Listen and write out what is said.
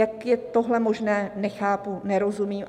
Jak je tohle možné, nechápu, nerozumím.